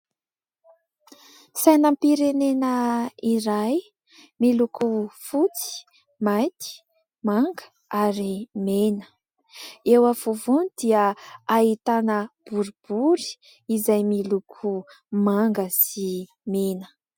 Sainam-pirenena iray, miloko fotsy, mainty, manga ary mena. Eo afovoany dia ahitana boribory izay miloko manga sy mena.